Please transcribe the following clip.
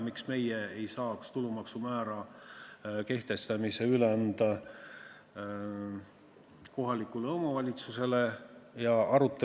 Miks meie ei saaks tulumaksu määra kehtestamist üle anda kohalikule omavalitsusele?